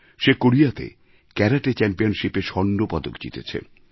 সে কোরিয়াতে ক্যারাটে চ্যাম্পিয়নশিপে স্বর্ণপদক জিতেছে